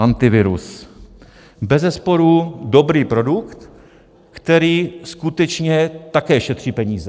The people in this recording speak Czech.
Antivirus - bezesporu dobrý produkt, který skutečně také šetří peníze.